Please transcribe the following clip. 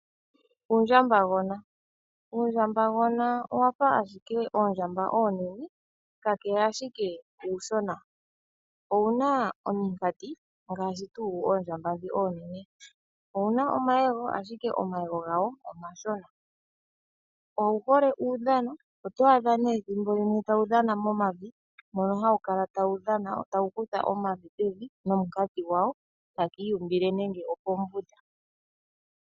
Uundjambagona, Uundjambagona owa fa ashike oondjamba oonene ka kele uushona. Owu na ominkati ngaashi dhoondjamba oonene. Owu na omayego ashike omashona. Owu hole uudhano na otwaadha ethimbo limwe tawu kutha omavi nominkati dhawo tawu iyumbile nenge opo mbunda.